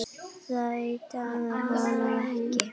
Það dugði honum þó ekki.